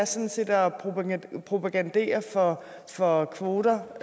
sådan set er at propagandere for for kvoter